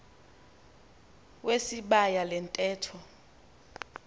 wesibaya le ntetho